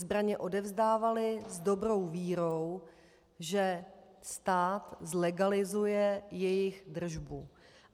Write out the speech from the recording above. Zbraně odevzdávali s dobrou vírou, že stát zlegalizuje jejich držbu.